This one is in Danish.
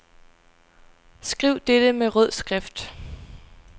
Skriv dette med rød skrift.